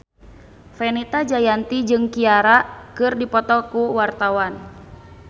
Fenita Jayanti jeung Ciara keur dipoto ku wartawan